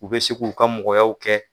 U bɛ se ku ka mɔgɔyaw kɛ.